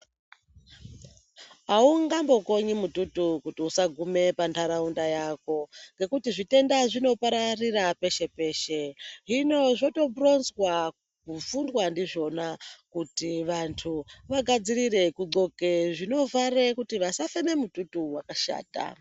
Haungambokonyi mututu kuti usagume panharaunda yako ngekuti zvitenda zvinopararira peshe-peshe hino zvotoronzwa kufundwa ndizvona kuti vantu vagadzirire kudzoka zvinovhara kuti vasafema mututu wakashata.